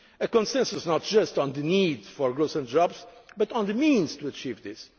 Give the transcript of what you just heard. resolve the crisis. A consensus not just on the need for growth and jobs, but on the means